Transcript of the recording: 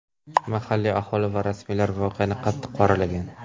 Mahalliy aholi va rasmiylar voqeani qattiq qoralagan.